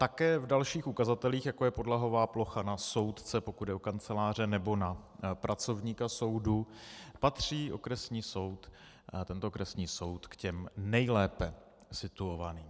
Také v dalších ukazatelích, jako je podlahová plocha na soudce, pokud jde o kanceláře, nebo na pracovníka soudu patří tento okresní soud k těm nejlépe situovaným.